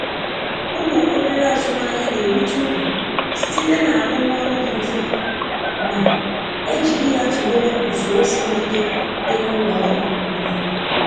Ụlọ obere azụmahịa na-erite uru site n'arụmọrụ dị mfe ma e jiri ya tụnyere usoro siri ike dị na ụlọ ọrụ buru ibu.